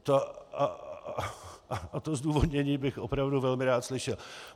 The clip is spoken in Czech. A to zdůvodnění bych opravdu velmi rád slyšel.